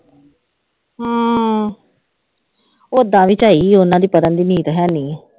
ਹਮ ਓਦਾਂ ਵੀ ਝਾਈ ਉਹਨਾਂ ਦੀ ਕਰਨ ਦੀ ਨੀਤ ਹੈਨੀ ਹੈ।